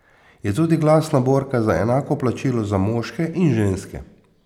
Je tudi glasna borka za enako plačilo za moške in ženske.